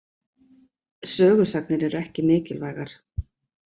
Sögusagnir eru ekki mikilvægar.